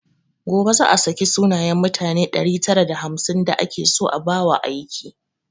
Gobe za a saki sunayen mutane ɗari tara da hamsin da ake so a ba wa aiki